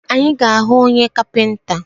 Anyị ga ahụ onye kapinta?